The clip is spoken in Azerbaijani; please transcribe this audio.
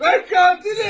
Mən qatiləm!